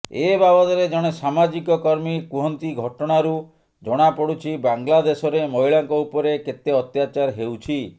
ଏ ବାବଦରେ ଜଣେ ସାମାଜିକ କର୍ମୀ କୁହନ୍ତି ଘଟଣାରୁ ଜଣାପଡ଼ୁଛି ବାଂଲାଦେଶରେ ମହିଳାଙ୍କ ଉପରେ କେତେ ଅତ୍ୟାଚାର ହେଉଛି